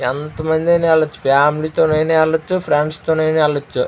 ఎంత మంది అన్ని అయినా వెళ్లొచ్చు. ఫ్యామిలీ తో అయినా వెళ్లొచ్చు. ఫ్రెండ్స్ తో అయినా వెళ్లొచ్చు.